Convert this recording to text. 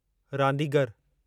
रांदीगरु